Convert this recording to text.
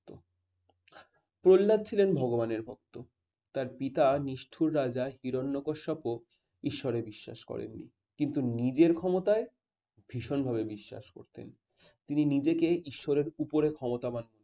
প্রহ্লাদ ছিলেন ভগবানের ভক্ত তার পিতা নিষ্ঠুর রাজা হিরণ্যাকশপ ঈশ্বরের বিশ্বাস করেননি। কিন্তু নিজের ক্ষমতায় ভীষণভাবে বিশ্বাস করতেন। তিনি নিজেকে ঈশ্বরের উপরে ক্ষমতাবান